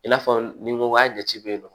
I n'a fɔ ni n ko a jate bɛ yen nɔ